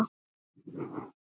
Hann var rómaður fyrir það.